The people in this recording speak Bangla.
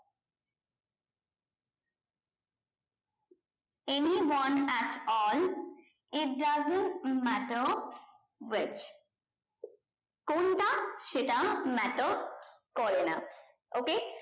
any one at all it doesn't matter which কোনটা সেটা matter করে না okey